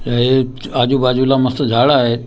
आह हे आजूबाजूला मस्त झाड आहेत .